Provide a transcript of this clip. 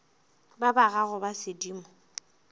ba ba gago ba sedimo